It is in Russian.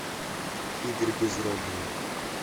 игорь безродный